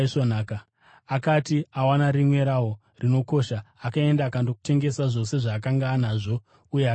Akati awana rimwe rawo rinokosha akaenda akandotengesa zvose zvaakanga anazvo uye akaritenga.